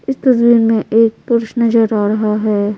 इस तस्वीर में एक पुरुष नजर आ रहा है।